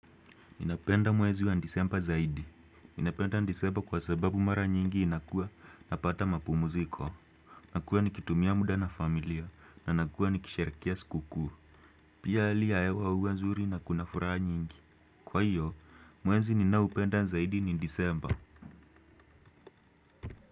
Ninapenda mwezi wa disemba zaidi. Ninapenda disemba kwa sababu mara nyingi inakua napata mapumziko. Nakua nikitumia muda na familia na nakuwa nikisherehekea sikukuu. Pia hali ya hewa huwa nzuri na kuna furaha nyingi. Kwa hiyo, mwezi ninaoupenda zaidi ni disemba.